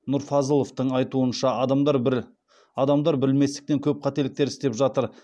нұрфазыловтың айтуынша адамдар білместіктен көп қателіктер істеп жатыр